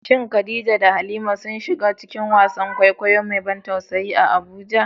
Shin Khadija da Halima sun shiga cikin wasan kwaikwayo mai ban tausayi a Abuja?